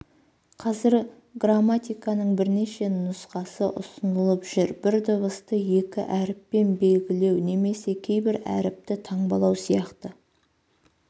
қазір граматиканың бірнеше нұсқасы ұсынылып жүр бір дыбысты екі әріппен белгілеу немесе кейбір әріпті таңбалау сияқты